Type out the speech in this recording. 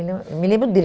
Eu me lembro dele.